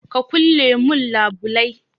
Ka ƙulle mun labulai.